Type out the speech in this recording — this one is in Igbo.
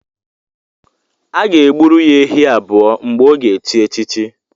A ga-e gburu ya ehi abụọ mgbe ọ ga-echi echichi